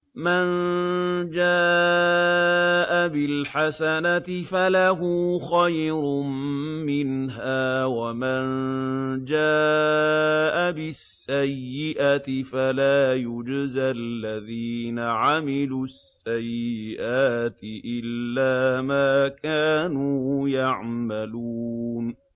مَن جَاءَ بِالْحَسَنَةِ فَلَهُ خَيْرٌ مِّنْهَا ۖ وَمَن جَاءَ بِالسَّيِّئَةِ فَلَا يُجْزَى الَّذِينَ عَمِلُوا السَّيِّئَاتِ إِلَّا مَا كَانُوا يَعْمَلُونَ